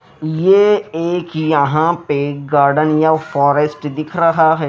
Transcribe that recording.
ये एक यहां पे गार्डन या फॉरेस्ट दिख रहा है।